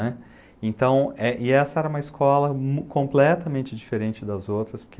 Entaão, e essa era uma escola completamente diferente das outras,